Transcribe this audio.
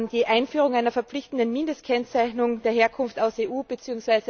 Die Einführung einer verpflichtenden Mindestkennzeichnung der Herkunft aus EU bzw.